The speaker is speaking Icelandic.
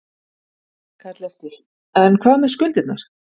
Karl Eskil: En hvað með skuldirnar?